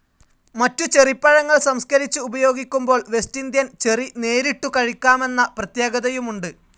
മറ്റുചെറിപ്പഴങ്ങൾ സംസ്‌ക്കരിച്ച് ഉപയോഗിക്കുമ്പോൾ West Indian cherry നേരിട്ടു കഴിക്കാമെന്ന പ്രത്യേകതയുമുണ്ട്.